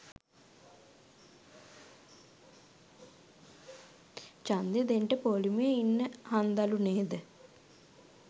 ජන්දේ දෙන්ට පෝලිමේ ඉන්න හන්දලු නේද?